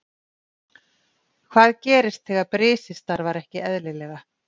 Hvað gerist þegar brisið starfar ekki eðlilega?